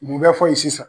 Mun bɛ fɔ ye sisan